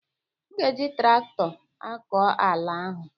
M ga-eji traktọ akọ ala ahu.